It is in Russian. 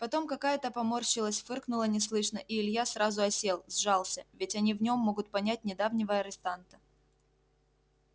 потом какая-то поморщилась фыркнула неслышно и илья сразу осел сжался ведь они в нем могут понять недавнего арестанта